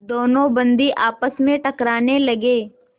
दोनों बंदी आपस में टकराने लगे